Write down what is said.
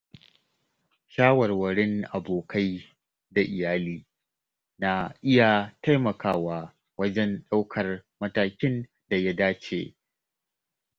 Shawarwarin abokai da iyali na iya taimakawa wajen ɗaukar matakin da ya dace.